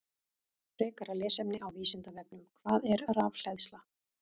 Frekara lesefni á Vísindavefnum: Hvað er rafhleðsla?